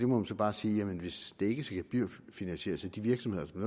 må man så bare sige hvis det ikke skal gebyrfinansieres af de virksomheder som